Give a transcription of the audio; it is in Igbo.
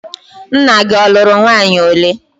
Nna gị ọ lụrụ nwaanyị ole?